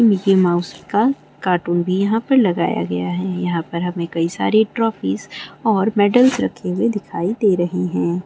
Mickey Mouse का cartoon भी यहाँ पर लगाया गया है यहाँ पर हमें कई सारे ट्रोफीस और मेडल्स रखे हुए दिखाई दे रहे हैं।